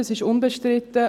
Das ist unbestritten.